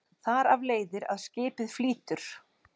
Þar af leiðir að skipið flýtur.